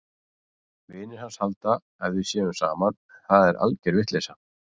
Vinir hans halda að við séum saman en það er alger vitleysa!